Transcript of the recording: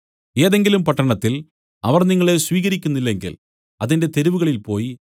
ഏതെങ്കിലും പട്ടണത്തിൽ അവർ നിങ്ങളെ സ്വീകരിക്കുന്നില്ലെങ്കിൽ അതിന്റെ തെരുവുകളിൽ പോയി